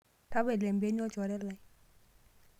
Tapala empiani olchore lai.